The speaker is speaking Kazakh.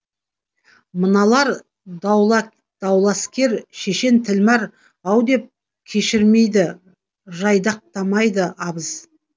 мыналар дауласкер шешен тілмар ау деп кешірмейді жайдақтамайды абыз